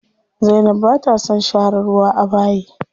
Zainab bata son share ruwa a bayi.